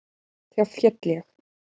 Þá féll ég.